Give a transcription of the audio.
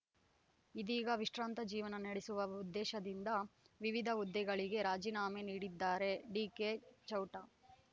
ಇದೀಗ ವಿಶ್ರಾಂತ ಜೀವನ ನಡೆಸುವ ಉದ್ದೇಶದಿಂದ ವಿವಿಧ ಹುದ್ದೆಗಳಿಗೆ ರಾಜಿನಾಮೆ ನೀಡಿದ್ದಾರೆ ಡಿಕೆಚೌಟ